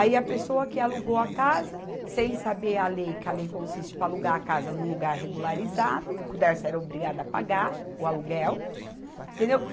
Aí, a pessoa que alugou a casa, sem saber a lei, que a lei consiste para alugar a casa num lugar regularizado, que o Dersa era obrigado a pagar o aluguel, entendeu?